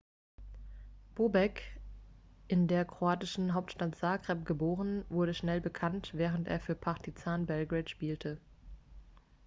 bobek in der kroatischen hauptstadt zagreb geboren wurde schnell bekannt während er für partizan belgrade spielte